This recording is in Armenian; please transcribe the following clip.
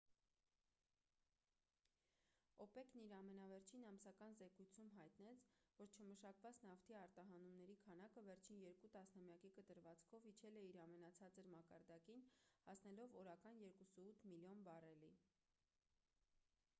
օպեկ-ն իր ամենավերջին ամսական զեկույցում հայտնեց որ չմշակված նավթի արտահանումների քանակը վերջին երկու տասնամյակի կտրվածքով իջել է իր ամենացածր մակարդակին հասնելով օրական 2,8 միլիոն բարելի